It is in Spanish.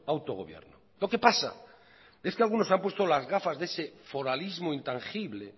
autogobierno lo que pasa es que algunos se han puesto las gafas de ese foralismo intangible